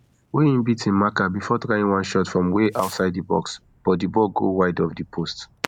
wey im beat im marker bifor trying one shot from way outside di box but di ball go wide of di post